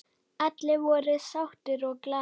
Allir voru sáttir og glaðir.